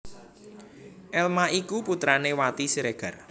Elma iku putrané Wati Siregar